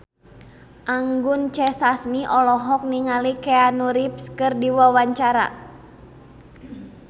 Anggun C. Sasmi olohok ningali Keanu Reeves keur diwawancara